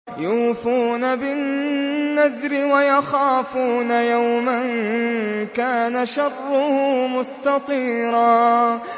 يُوفُونَ بِالنَّذْرِ وَيَخَافُونَ يَوْمًا كَانَ شَرُّهُ مُسْتَطِيرًا